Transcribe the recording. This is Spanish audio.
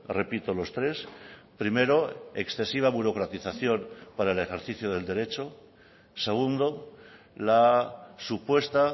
repito los tres primero excesiva burocratización para el ejercicio del derecho segundo la supuesta